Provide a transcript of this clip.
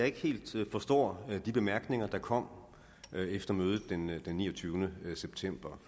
ikke helt forstår de bemærkninger der kom efter mødet den mødet den niogtyvende september